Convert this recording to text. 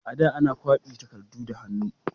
A da, ana kwafi takardu da hannu.